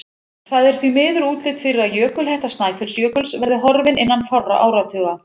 Það er því miður útlit fyrir að jökulhetta Snæfellsjökuls verði horfin innan fárra áratuga.